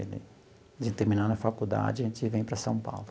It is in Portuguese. A gente terminar na faculdade e a gente vem para São Paulo.